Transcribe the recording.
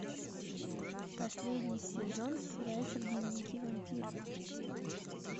последний сезон сериальчик дневники вампира